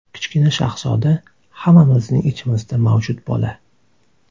Kichkina shahzoda – hammamizning ichimizda mavjud bola.